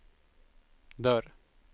dörr